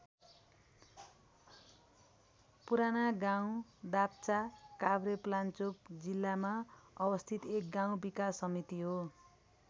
पुरानागाउँ दाप्चा काभ्रेपलाञ्चोक जिल्लामा अवस्थित एक गाउँ विकास समिति हो।